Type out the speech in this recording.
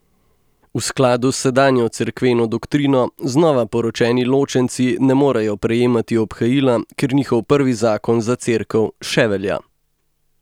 V skladu s sedanjo cerkveno doktrino znova poročeni ločenci ne morejo prejemati obhajila, ker njihov prvi zakon za Cerkev še velja.